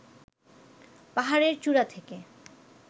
পাহাড়ের চূড়া থেকে